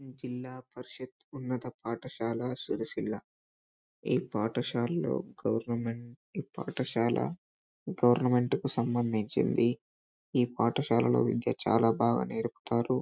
ఇది జిల్లా పరిషత్ ఉన్నత పాఠశాల సిరిసిల్ల ఈ పాఠశాలలో గవర్నమెంట్ పాఠశాల గవర్నమెంట్ కు సంబంధించింది ఈ పాఠశాలలో ఇంకా చాల బాగా నేర్పుతారు.